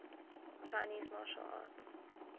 chinese martial arts